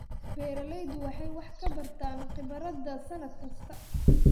Beeraleydu waxay wax ka bartaan khibradda sannad kasta.